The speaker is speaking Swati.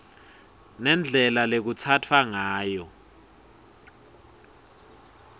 nendlela lekutsatfwa ngayo